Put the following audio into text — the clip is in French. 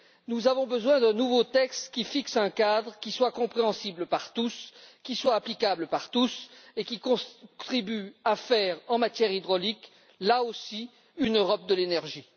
Nous avons besoin d'un nouveau texte qui fixe un cadre qui soit compréhensible par tous, qui soit applicable par tous et qui contribue à faire, en matière hydraulique, là aussi, une Europe de l'énergie.